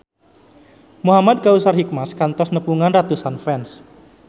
Muhamad Kautsar Hikmat kantos nepungan ratusan fans